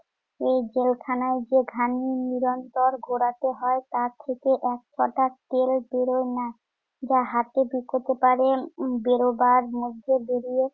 এই জেলখানায় যে ঘানি নিরন্তর ঘোরাতে হয় তা থেকে এক ছটাক তেল বেরোয় না। যা হাটে বিকোতে পারেন বেরোবার মধ্যে বেরিয়ে